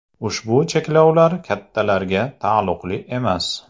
Ushbu cheklovlar kattalarga taalluqli emas.